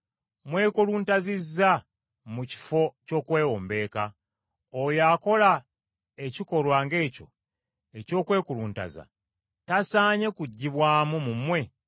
Mwekuluntazizza mu kifo ky’okwewombeeka. Oyo akola ekikolwa ng’ekyo eky’okwekuluntaza, tasaanye kuggyibwamu mu mmwe?